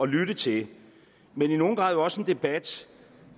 lytte til men i nogen grad også en debat